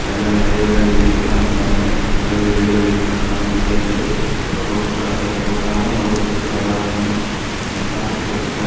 இதுல நிறைய பேரு உக்காந்து இருக்காங்க நிறைய பேரு வெளியே வெயிட் பன்றாங்க இங்க ரெண்டு ரோஸ் கலர் சட்டை போட்ட ஆளும் ஒரு பக்கத்துல ஒரு ஆளும் நின்னு பாத்துட்டு இருக்காங்க.